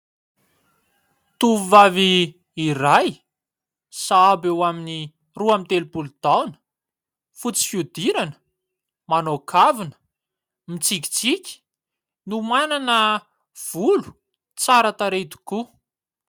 Tovovavy iray sahabo eo amin'ny roa amby telopolo taona, fotsy fihodirana, manao kavina, mitsikitsiky, no manana volo tsaratarehy tokoa.